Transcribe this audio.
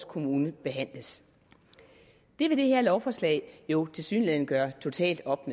kommune behandles det vil det her lovforslag jo tilsyneladende gøre totalt op